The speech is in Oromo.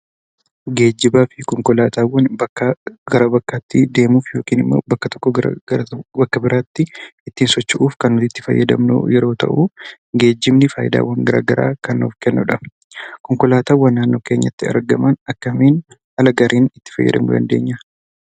Geejjibaa fi konkolaataawwan bakkaa gara bakkaatti deemuuf yookiin immoo bakka tokkoo gara bakka biraatti ittiin socho'uuf kan nuyi itti fayyadamnu yeroo ta'u, geejjibni faayidaawwan garaa garaa kan nuuf kennudha. Konkolaataawwan naannoo keenyatti argaman akkamiin haala gaariin itti fayyadamuu dandeenya?